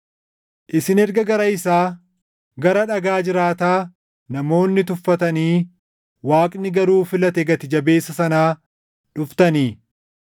Isin erga gara isaa, gara Dhagaa jiraataa namoonni tuffatanii Waaqni garuu filate gati jabeessa sanaa dhuftanii,